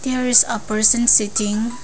there is a person sitting.